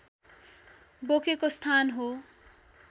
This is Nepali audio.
बोकेको स्थान हो